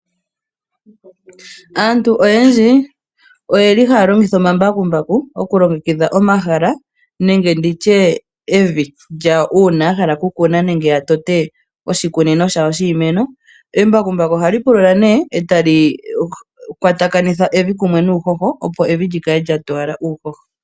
Aantu oyendji oyeli haya longitha omambakumbaku okulongekidha omahala nenge nditye evi lyawo uuna yahala oku kuna nenge yatote oshikunino shawo shiimeno. Embakumbaku ohali pulula nee eta likwatakanitha evi kumwe nuuhoho, opo evi lyikale lyatowala uuhoho.